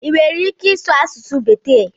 ị nwere ike ịsụ asụsụ Bekee?